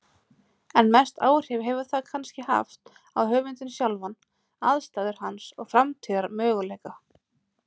En mest áhrif hefur það kannski haft á höfundinn sjálfan, aðstæður hans og framtíðarmöguleika.